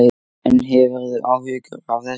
En hefurðu áhyggjur af þessu?